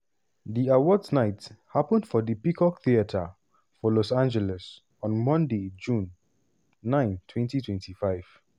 di awards night happun for di peacock theater for los angeles on monday june 9 2025.